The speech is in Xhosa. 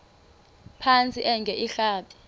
phantsi enge lrabi